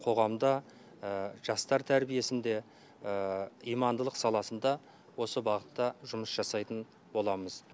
қоғамда жастар тәрбиесінде имандылық саласында осы бағытта жұмыс жасайтын боламыз